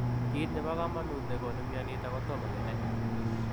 Kiit nepo kamanuut negonuu mionitok kotomo kenai.